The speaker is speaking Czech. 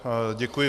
Děkuji.